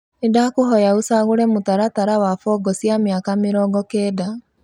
nĩ ndakũhoya ucagũre mutaratara wa bongo cia miaka ya mĩrongo kenda